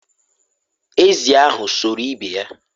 ezì ahụ sụrụ ibe ya